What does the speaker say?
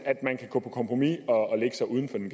at man kan gå på kompromis og lægge sig uden for den